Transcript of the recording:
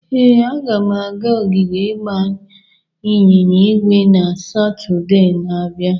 Ee, aga m aga ogige ịgba ịnyịnya ígwè na Satọde na-abịa.